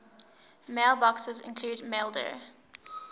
mailboxes include maildir